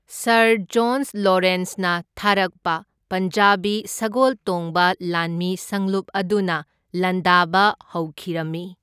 Sir John ꯂꯣꯔꯦꯟꯁꯅ ꯊꯥꯔꯛꯄ ꯄꯟꯖꯥꯕꯤ ꯁꯒꯣꯜ ꯇꯣꯡꯕ ꯂꯥꯟꯃꯤ ꯁꯪꯂꯨꯞ ꯑꯗꯨꯅ ꯂꯥꯟꯗꯥꯕ ꯍꯧꯈꯤꯔꯝꯃꯤ꯫